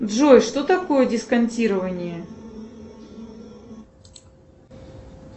джой что такое дисконтирование